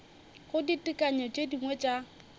go ditekanyo tše dingwe tša